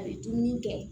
A bɛ dumuni kɛ